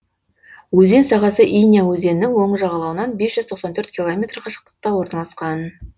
өзен сағасы иня өзенінің оң жағалауынан бес жүз тоқсан төрт километр қашықтықта орналасқан